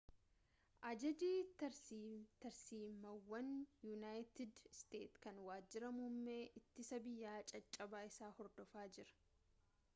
ajaji tarsiimaawaan yuunaayitid isteetsi kan waajjira muummee ittisa biyyaa caccabaa isaa hordofaa jira